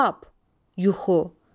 Xab, yuxu.